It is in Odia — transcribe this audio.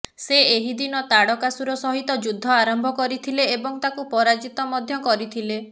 ସେ ଏହି ଦିନ ତାଡ଼କାସୁର ସହିତ ଯୁଦ୍ଧ ଆରମ୍ଭ କରିଥିଲେ ଏବଂ ତାକୁ ପରାଜିତ ମଧ୍ୟ କରିଥିଲେ